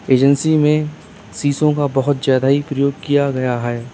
Agency में शीशो का बोहोत ज्यादा ही प्रयोग किया गया है।